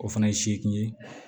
O fana ye seegin ye